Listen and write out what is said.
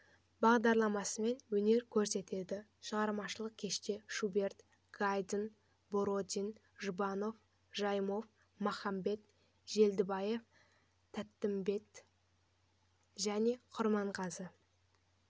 бағдарламасымен өнер көрсетеді шығармашылық кеште шуберт гайдн бородин жұбанов жайымов махамбет желдібаева тәттімбет және құрманғазы